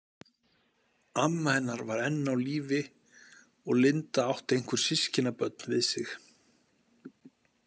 Amma hennar var enn á lífi og Linda átti einhver systkinabörn við sig.